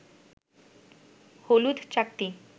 হলুদ চাকতি